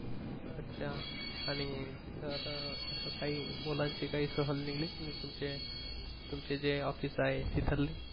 अच्छा आणि तर सकाळी मुलांची काही सहल निघली तुमचे तुमचे जे office आहे तीथरली